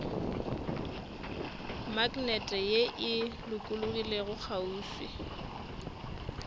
maknete ye e lokologilego kgauswi